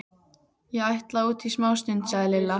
Ég ætla út í smástund, sagði Lilla.